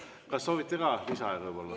Kas soovite ka lisaaega?